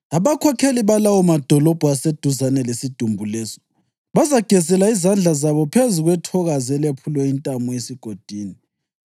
Abakhokheli balawo madolobho aseduzane lesidumbu leso bazagezela izandla zabo phezu kwethokazi elephulelwe intamo esigodini,